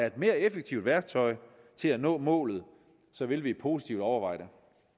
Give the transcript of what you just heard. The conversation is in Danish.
et mere effektivt værktøj til at nå målet vil vi positivt overveje det